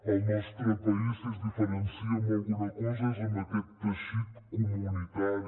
el nostre país si es diferencia en alguna cosa és en aquest teixit comunitari